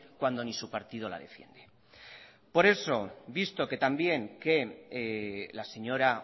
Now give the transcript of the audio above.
cuando ni su partido la defiende por eso visto que también que la señora